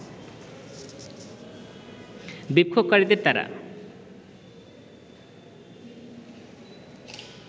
বিক্ষোভকারীদের তারা